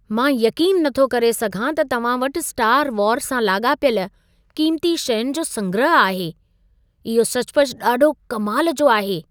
मां यक़ीनु नथो करे सघां त तव्हां वटि स्टार वार सां लाॻापियल क़ीमती शयुनि जो संग्रह आहे। इहो सचुपचु ॾाढो कमाल जो आहे।